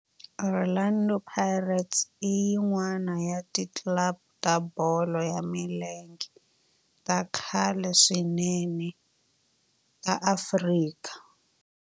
Orlando Pirates i yin'wana ya ti club ta bolo ya milenge ta khale swinene ta Afrika